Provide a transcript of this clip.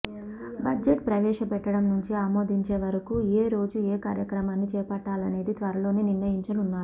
budget ప్రవేశ పెట్టడం నుంచి ఆమోదించే వరకు ఏ రోజు ఏ కార్యక్రమాన్ని చేపట్టాలనేది త్వరలోనే నిర్ణయించనున్నారు